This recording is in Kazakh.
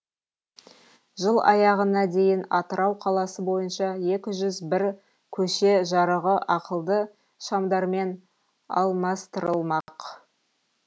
жыл аяғына дейін атырау қаласы бойынша екі жүз бір көше жарығы ақылды шамдармен алмастырылмақ